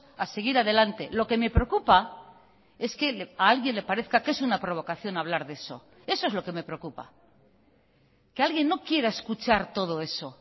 a seguir adelante lo que me preocupa es que a alguien le parezca que es una provocación hablar de eso eso es lo que me preocupa que alguien no quiera escuchar todo eso